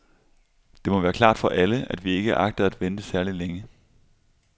Det må være klart for alle, at vi ikke agter at vente særligt længe.